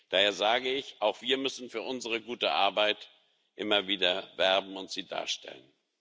Daher sage ich Auch wir müssen für unsere gute Arbeit immer wieder werben und sie darstellen.